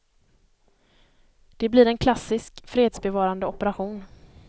Det blir en klassisk fredsbevarande operation.